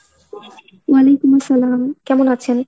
ওয়ালাইকুম আসসালাম। কেমন আছেন?